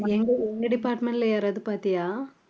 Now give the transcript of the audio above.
எங்க எங்க department ல யாராவது பாத்தியா